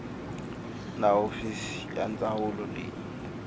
na hofisi ya ndzawulo leyi